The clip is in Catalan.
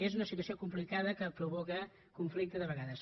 és una situació complicada que provoca conflicte de vegades